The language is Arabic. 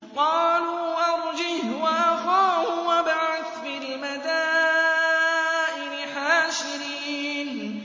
قَالُوا أَرْجِهْ وَأَخَاهُ وَابْعَثْ فِي الْمَدَائِنِ حَاشِرِينَ